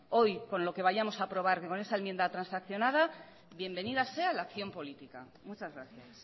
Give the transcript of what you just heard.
hoy con lo que vayamos a aprobar con esa enmienda transaccionada bienvenida sea la acción política muchas gracias